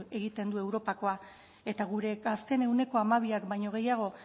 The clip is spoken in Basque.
egiten du europakoa eta gure gazteen ehuneko hamabiak baino gehiago